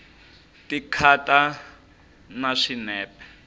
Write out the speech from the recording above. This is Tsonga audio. ti khata na swinepe